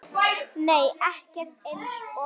Nei ekkert eins og